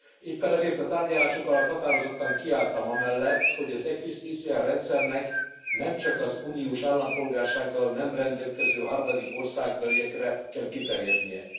Éppen ezért a tárgyalások alatt határozottan kiálltam amellett, hogy az ECRIS TCN rendszernek, nemcsak az uniós állampolgársággal nem rendelkező harmadik országbeliekre kell kiterjednie.